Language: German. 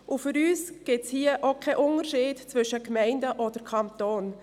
Für uns gibt es hier auch keinen Unterschied zwischen Gemeinden und Kanton.